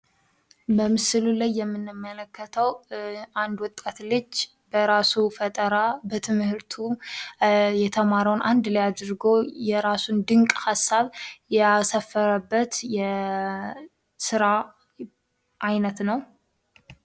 በምስሉ ላይ የምንመለከተው አንድ ወጣት ልጅ በራሱ ፈጠራ በትምህርቱ የተማረውን አንድ ላይ አድርጎ የራሱን ድንቅ ሐሳብ ያሳፈረበት የስራ አይነት ነው።